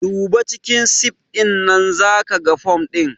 Duba cikin sif ɗinnan zakiga fom ɗin